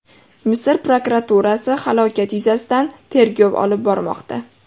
Misr prokuraturasi halokat yuzasidan tergov olib bormoqda.